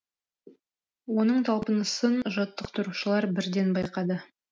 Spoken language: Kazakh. оның талпынысын жаттықтырушылар бірден байқады